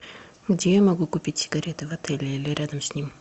где я могу купить сигареты в отеле или рядом с ним